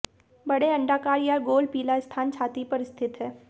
बड़े अंडाकार या गोल पीला स्थान छाती पर स्थित है